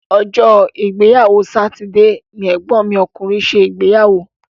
Ọjọ́ ìgbéyàwó sátidé ni ẹ̀gbọ́n mi ọkùnrin ṣe ìgbéyàwó.